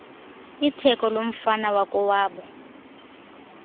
itheko lomfana wakowabo